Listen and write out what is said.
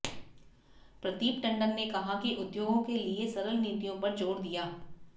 प्रदीप टंडन ने कहा कि उद्योगों के लिए सरल नीतियों पर जोर दिया